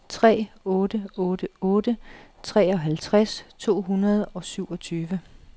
tre otte otte otte treoghalvtreds to hundrede og syvogtyve